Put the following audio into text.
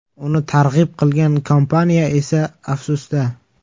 Uni targ‘ib qilgan kompaniya esa afsusda.